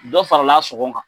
Dɔ fara sɔgɔn kan.